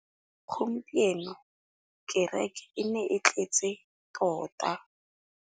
Gompieno kêrêkê e ne e tletse tota.